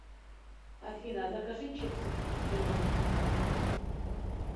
афина закажи чипсы к кино